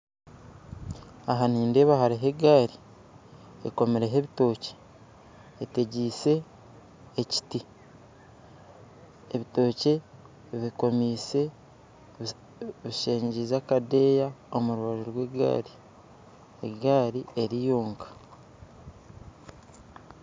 Aha nindeeba hariho egaari komiireho ebitookye etegyeise ekiti ebitookye bikomiise bisengiize akadeeya omurubaju rwegaari egaari eriyoonka